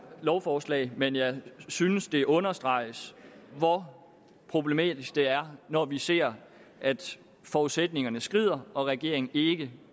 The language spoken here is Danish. lovforslag men jeg synes det understreges hvor problematisk det er når vi ser at forudsætningerne skrider og at regeringen ikke